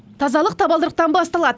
тазалық табалдырықтан басталады